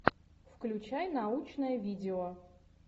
включай научное видео